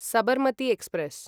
Sabarmati express